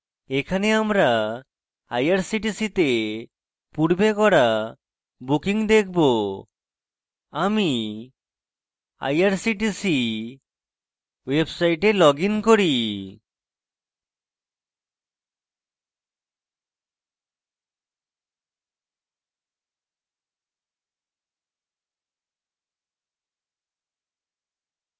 এখানে আমরা irctc তে পূর্বে করা bookings দেখবো আমি irctc website লগইন করি